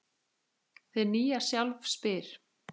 Hið nýja sjálf spyr